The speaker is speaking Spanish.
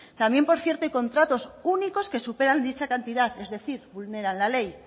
también por cierto hay contratos únicos que superan dicha cantidad es decir vulneran la ley